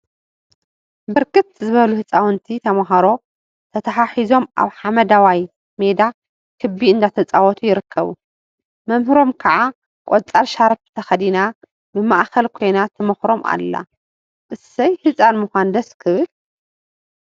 ብርክት ዝበሉ ህፃውንቲ ተምሃሮ ተተሓሒዞም አብ ሓመደዋይ ሜዳ ክቢ እናተፃወቱ ይርከቡ፡፡ መምህሮም ከዓ ቆፃል ሻርፕ ተከዲና ብማእከል ኮይና ትመክሮም አላ፡፡ እሰይ ህፃን ምኳን ደስ ክብል፡፡